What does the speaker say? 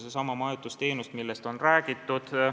See on seesama majutusteenus, millest on räägitud.